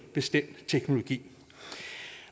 bestemt teknologi